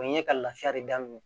O ye ka laafiya de daminɛ